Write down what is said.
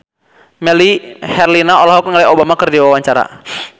Melly Herlina olohok ningali Obama keur diwawancara